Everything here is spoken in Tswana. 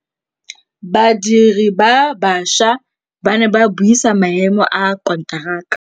Badiri ba baša ba ne ba buisa maêmô a konteraka.